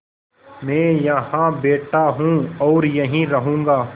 मैं यहाँ बैठा हूँ और यहीं रहूँगा